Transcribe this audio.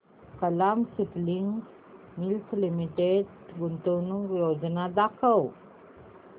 Kalam spinning mills limited गुंतवणूक योजना दाखव